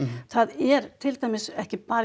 það er til dæmis ekki bara í